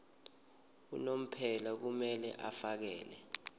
unomphela kumele afakele